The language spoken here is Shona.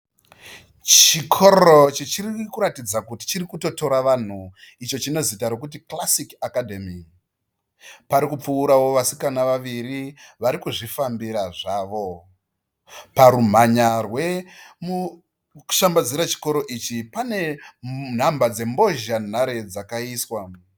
Chikoro chichiri kuratidza kuti chiri kuto tora vanhu icho chine zita rekuti Classic Academy. Pari kupfuurawo vasikana vaviri vari kuzvifambira zvavo. Parumhanya rwekushambadzira chikoro ichi pane nhamba dzembozhanhare dzakaiswa.